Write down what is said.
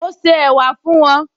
Mo se ẹ̀wà fún wọn